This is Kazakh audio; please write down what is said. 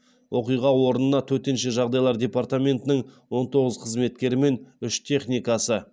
оқиға орнына төтенше жағдайлар департаментінің он тоғыз қызметкері мен үш техникасы